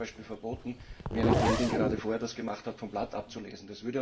Da war es zum Beispiel verboten, wie eine Kollegin das vorher gemacht hat, vom Blatt abzulesen.